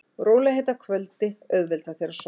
Rólegheit að kvöldi auðvelda þér að sofna.